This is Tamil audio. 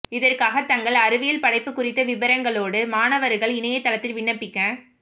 இதற்காக தங்கள் அறிவியல் படைப்பு குறித்த விபரங்களோடு மாணவர்கள் இணையதளத்தில் விண்ணப்பிக்க